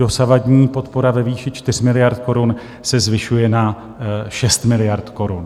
Dosavadní podpora ve výši 4 miliard korun se zvyšuje na 6 miliard korun.